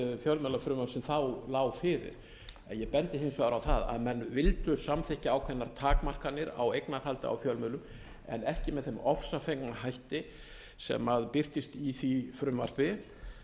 fjölmiðlafrumvarp sem þá lá fyrir ég bendi hins vegar á það að menn vildu samþykkja ákveðnar takmarkanir á eignarhaldi á fjölmiðlum en ekki með þeim ofsafengna hætti sem birtist í því frumvarpi